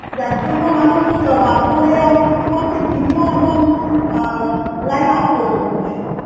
যার জন্য মানুষ অনেকে বাধ্য হয়ে কি করছে TV ও এখন অ্যাঁ line off করে দিচ্ছে